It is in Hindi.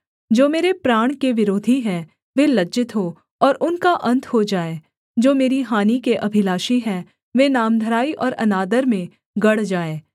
जो मेरे प्राण के विरोधी हैं वे लज्जित हो और उनका अन्त हो जाए जो मेरी हानि के अभिलाषी हैं वे नामधराई और अनादर में गड़ जाएँ